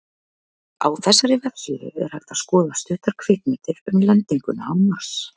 Á þessari vefsíðu er hægt að skoða stuttar kvikmyndir um lendinguna á Mars.